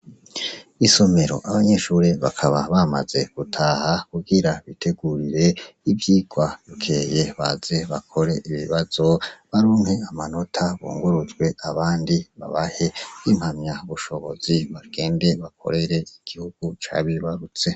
Isomero abanyeshuri bakaba bamaze gutaha kubwira bitegurire 'ivyigwarukeye baze bakore ibibazo barumpe amanota bungurutswe abandi babahe bimpamya ubushobozi babende bakorere igihugu cabibarutse.